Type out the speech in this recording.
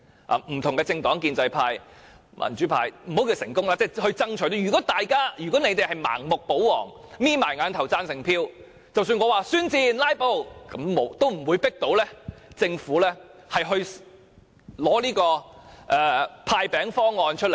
不同的政黨，建制派、民主派等也有份爭取，如果建制派盲目保皇，閉上眼睛投贊成票，即使我宣戰、"拉布"也不能強迫政府拿出"派錢"方案。